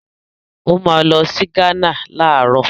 Ó máa lọ sí Gánà láàárọ̀.